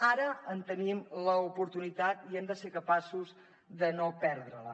ara en tenim l’oportunitat i hem de ser capaços de no perdre la